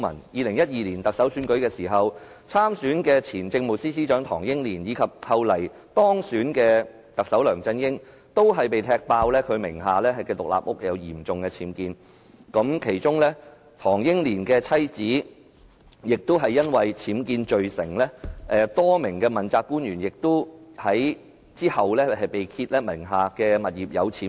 2012年，參選特首選舉的前政務司司長唐英年及後來當選的特首梁振英，均被“踢爆”名下獨立屋有嚴重僭建，唐英年妻子更被判僭建罪成，其後多名問責官員亦被揭發名下物業有僭建。